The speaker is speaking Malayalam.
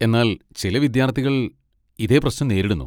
എന്നാൽ ചില വിദ്യാർത്ഥികൾ ഇതേ പ്രശ്നം നേരിടുന്നു.